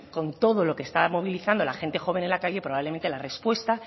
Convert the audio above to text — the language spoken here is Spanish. con todo lo que está movilizando la gente joven en la calle probablemente la respuesta